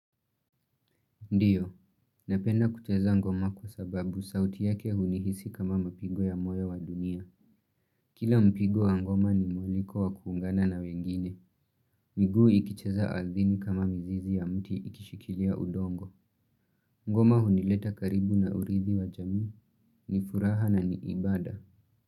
Ndiyo, napenda kucheza ngoma kwa sababu sauti yake hunihisi kama mapigo ya moyo wa dunia. Kila mpigo wa ngoma ni mwaliko wa kuungana na wengine. Miguu ikicheza ardhini kama mzizi ya mti ikishikilia udongo. Ngoma hunileta karibu na urithi wa jamii ni furaha na ni ibada.